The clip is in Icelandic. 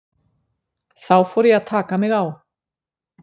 Þá fór ég að taka mig á.